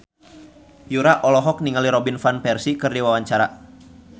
Yura olohok ningali Robin Van Persie keur diwawancara